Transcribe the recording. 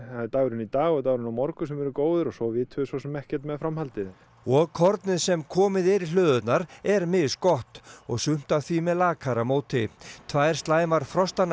er dagurinn í dag og dagurinn á morgun sem eru góðir en svo vitum við svosem ekkert um framhaldið og kornið sem komið er í hlöðurnar er misgott og sumt af því með lakara móti tvær slæmar